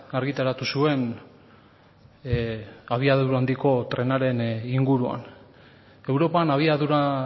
argitaratu zuen zeren abiadura handiko trenaren inguruan europan abiadura